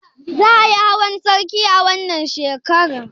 Za ayi hawan sarki a wannan shekarar?